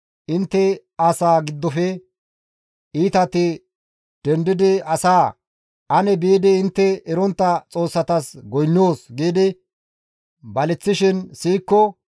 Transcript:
intte asaa giddofe iitati dendidi asaa, «Ane biidi intte erontta xoossatas goynnoos» giidi baleththishin siyikko,